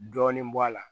Dɔɔnin bɔ a la